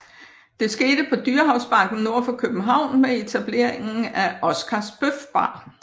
Det skete på Dyrehavsbakken nord for København med etableringen af Oscars Bøf Bar